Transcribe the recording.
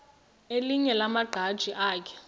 elinye lamaqhaji akhe